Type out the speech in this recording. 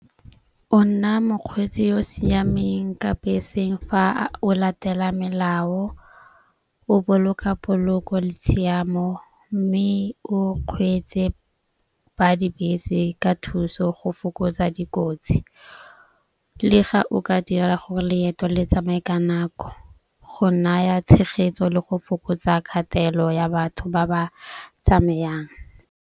O nna mokgweetsi yo o siameng ka beseng fa o latela melao, o boloka poloko le tshiamo. Mme o kgweetse ba dibese ka thuso go fokotsa dikotsi le ga o ka dira gore leeto le tsamaye ka nako go naya tshegetso le go fokotsa kgatelelo ya batho ba ba tsamayang.